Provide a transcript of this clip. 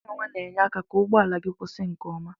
Nyawa na enye aka ka ụgbọala gi kwụsi nke ọma.